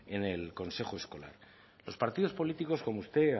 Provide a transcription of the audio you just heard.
en el consejo escolar los partidos políticos como usted